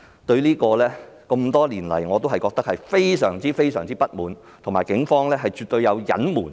多年來，我對此感到非常不滿，警方絕對有作出隱瞞。